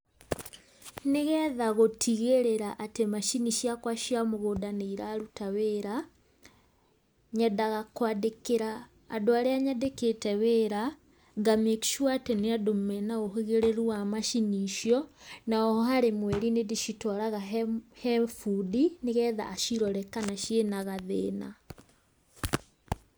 Nĩgetha gũtigĩrĩra atĩ macini ciakwa cia mũgũnda nĩ iraruta wĩra, nyendaga kwandĩkĩra andũ arĩa nyandĩkĩte wĩra nga make sure atĩ nĩ andũ mena ũgĩrĩru wa macini icio, na oho harĩ mweri nĩ ndĩcitwaraga he bundi, nĩgetha acirore kana ciĩna gathĩna.